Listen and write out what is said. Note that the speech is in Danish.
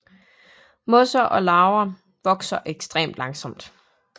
Mosser og laver vokser ekstremt langsomt